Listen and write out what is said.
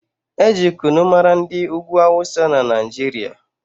Eji kunu mara ndị ugwu awụsa na Naijiria